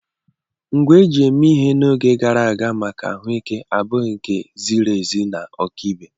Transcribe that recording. Ngwa eji eme ihe n'oge gara aga maka ahụike abụghị nke a ziri ezi na ọkaibe.